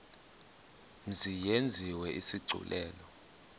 mzi yenziwe isigculelo